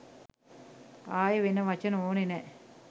ආයෙ වෙන වචන ඕනෙ නෑ